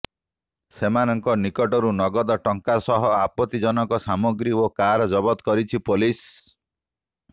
ସେମାନଙ୍କ ନିକଟରୁ ନଗଦ ଟଙ୍କା ସହ ଆପତ୍ତିଜନକ ସାମଗ୍ରୀ ଓ କାର ଜବତ କରିଛି ପୋଲିସ